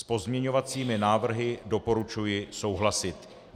S pozměňovacími návrhy doporučuji souhlasit.